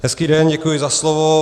Hezký den, děkuji za slovo.